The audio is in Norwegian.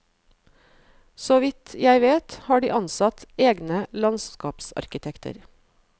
Så vidt jeg vet har de ansatt egne landskapsarkitekter.